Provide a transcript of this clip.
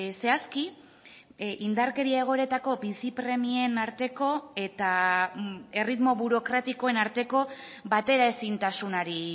zehazki indarkeria egoeretako bizi premien arteko eta erritmo burokratikoen arteko batera ezintasunari